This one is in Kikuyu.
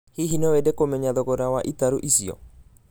Hihi no wende kũmenya thogora wa itarũ icio?